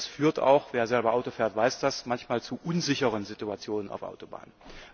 Und das führt auch wer selber Auto fährt, weiß das manchmal zu unsicheren Situationen auf Autobahnen.